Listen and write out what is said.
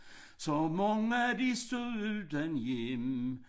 Så mange de stod uden hjem